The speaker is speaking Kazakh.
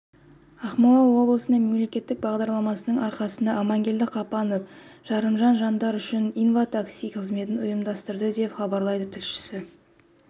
ақмола облысында мемлекеттік бағдарламасының арқасында амангелді қапанов жарымжан жандар үшін инва-такси қызметін ұйымдастырды деп хабарлайды тілшісі